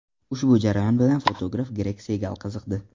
Ushbu jarayon bilan fotograf Gregg Segal qiziqdi.